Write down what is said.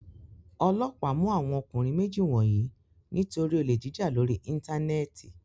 Ọlọ́pàá mú àwọn ọkùnrin méjì wọ̀nyí nítorí olè jíjà lórí Íńtánẹ́ẹ̀tì.